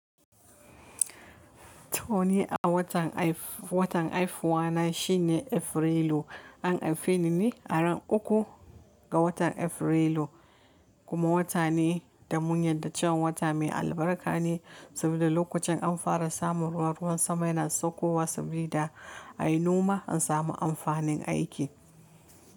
To ni a watan aif-watan aifuwa na shine Afrilu. An aifi ni ne ran uku ga watan Afrilu kuma wata ne da mun yarda cewa wata mai albarka ne saboda lokacin an fara samun ruwa, ruwan sama yana saukowa sabida a yi noma an sami amfanin aiki.